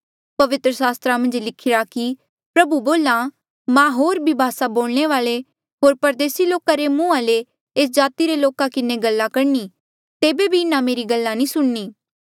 पवित्र सास्त्रा मन्झ लिखिरा कि प्रभु बोल्हा मां होर ही भासा बोलणे वाले होर परदेसी लोका रे मुंहा ले एस जाति रे लोका किन्हें गल्ला करणी तेबे बी इन्हा मेरी गल्ला नी सुणनी